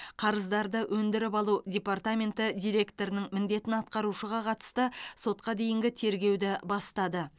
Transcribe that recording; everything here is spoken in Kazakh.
қарыздарды өндіріп алу департаменті директорының міндетін атқарушыға қатысты сотқа дейінгі тергеуді бастады